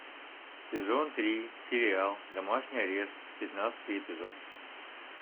сезон три сериал домашний арест пятнадцатый эпизод